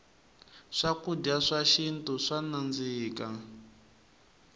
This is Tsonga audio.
swakudya swa xintu swa nandzika